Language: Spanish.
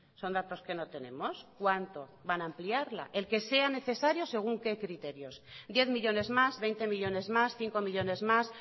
son datos que no tenemos cuánto van a ampliarla el que sea necesario según qué criterios diez millónes más veinte millónes más cinco millónes más